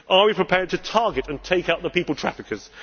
Are we prepared to target and take out the people traffickers?